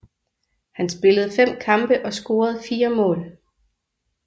Han spillede fem kampe og scorede fire mål